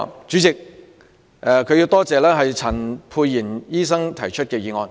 主席，邵議員感謝陳沛然醫生提出這項議案。